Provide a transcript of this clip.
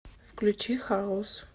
включи хаус